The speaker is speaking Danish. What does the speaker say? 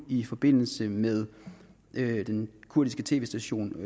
i forbindelse med den kurdiske tv station